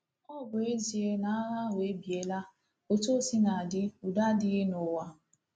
Ọ bụ ezie na agha ahụ ebiela, otu o sina dị, udo adịghị n’ụwa.